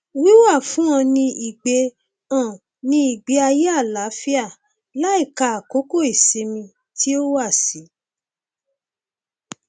wíwá fún un ní ìgbé un ní ìgbé ayé àlàáfíà láìka àkókò ìsinmi tí ó wà sí